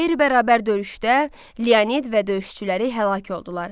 Qeyri-bərabər döyüşdə Leonid və döyüşçüləri həlak oldular.